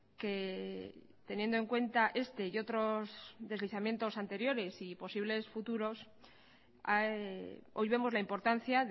que teniendo en cuenta este y otros deslizamientos anteriores y posibles futuros hoy vemos la importancia